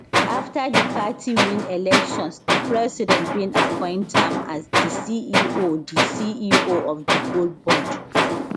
afta di party win elections di president bin appoint am as di ceo di ceo of di gold board